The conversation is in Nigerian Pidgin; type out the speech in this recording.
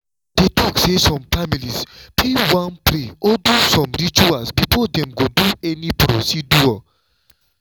i dey talk say some families fit wan pray or do some rituals before dem go do any procedure.